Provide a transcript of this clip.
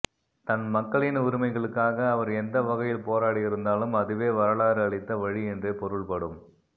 தன் மக்களின் உரிமைகளுக்காக அவர் எந்த வகையில் போராடியிருந்தாலும் அதுவே வரலாறு அளித்த வழி என்றே பொருள்படும்